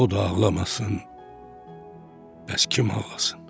O da ağlamasın, bəs kim ağlasın?